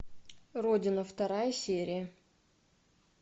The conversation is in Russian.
родина вторая серия